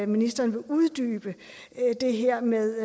ministeren vil uddybe det her med